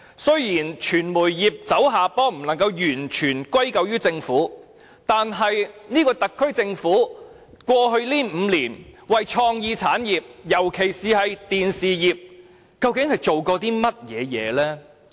儘管傳媒業走下坡不能完全歸咎於政府，但特區政府在過去5年，究竟為創意產業，尤其是電視業做了些甚麼？